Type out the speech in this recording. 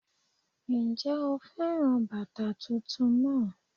N jé o féràn bàtà titun náà